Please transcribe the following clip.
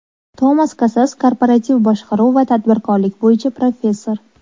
Tomas Kasas Korporativ boshqaruv va tadbirkorlik bo‘yicha professor.